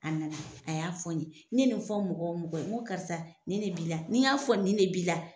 A nana a y'a fɔ n ɲe, n ɲe nin fɔ mɔgɔ o mɔgɔ nko karisa ni ne b'i la, ni y'a fɔ ni ne b'i la.